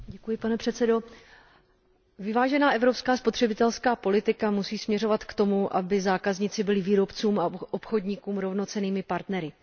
Pane předsedající, vyvážená evropská spotřebitelská politika musí směřovat k tomu, aby zákazníci byli výrobcům a obchodníkům rovnocennými partnery.